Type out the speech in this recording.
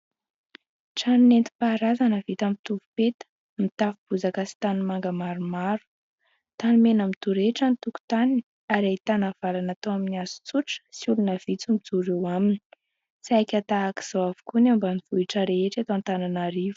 Trano nentim-paharazana vita amin'ny tovopeta, mitafo bozaka sy tanimanga maromaro. Tanimena midorehitra ny tokontaniny ary ahitana varavarana atao amin'ny hazo tsotra sy olona vitsy mijoro eo aminy. Saika tahaka izao daholo ny ambanivohitra eto Antananarivo.